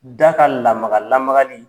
N t'a ka lamaga-lamaga nin